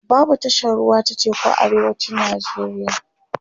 babu tashar ruwa ta teku a arewacin nigeria